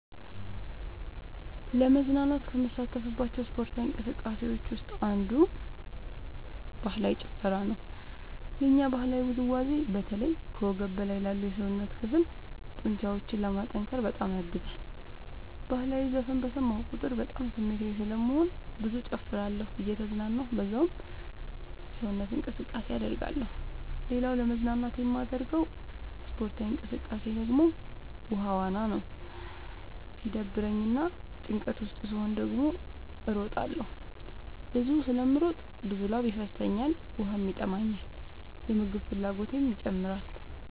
ለመዝናናት ከምሳተፍባቸው ስፓርታዊ እንቅስቃሴዎች ውስጥ አንዱ ባህላዊ ጭፈራ ነው። የኛ ባህላዊ ውዝዋዜ በተለይ ከወገብ በላይ ላሉ የሰውነት ክፍሎ ጡንቻዎችን ለማጠንከር በጣም ያግዛል። በህላዊ ዘፈን በሰማሁ ቁጥር በጣም ስሜታዊ ስለምሆን ብዙ እጨፍራለሁ እየተዝናናሁ በዛውም ሰውነት እንቅስቃሴ አደርጋለሁ። ሌላኛው ለመዝናናት የማደርገው ስፖርታዊ እንቅቃሴ ደግሞ ውሃ ዋና ነው። ሲደብረኝ እና ጭንቀት ውስጥ ስሆን ደግሞ እሮጣለሁ። ብዙ ስለምሮጥ ብዙ ላብ ይፈሰኛል ውሃም ይጠማኛል የምግብ ፍላጎቴም ይጨምራል።